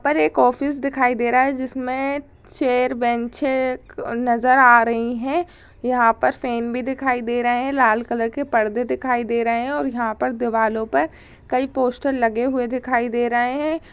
पर एक ऑफिस दिखाई दे रहा है जिसमे चेयर बेंचे नजर आ रही हैं। यहाँ पर फेन भी दिखाई दे रहा है। लाल कलर के पर्दे दिखाई दे रहे हैं और यहाँ दिवालो पर कई पोस्टर लगे हुए दिखाई दे रहे हैं।